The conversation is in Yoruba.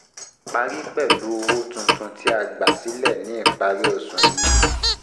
Parí pẹ̀lú owó tuntun owó tuntun tí a gbà sílẹ̀ ní ìparí oṣù yìí.